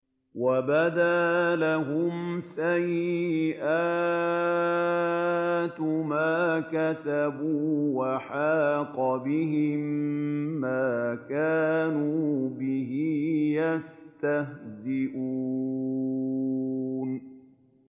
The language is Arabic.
وَبَدَا لَهُمْ سَيِّئَاتُ مَا كَسَبُوا وَحَاقَ بِهِم مَّا كَانُوا بِهِ يَسْتَهْزِئُونَ